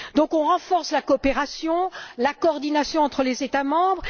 On renforce donc la coopération et la coordination entre les États membres.